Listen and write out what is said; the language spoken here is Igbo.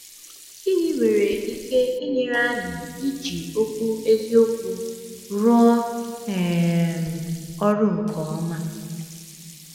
Gịnị nwere ike inyere anyị iji Okwu Eziokwu rụọ um ọrụ nke ọma?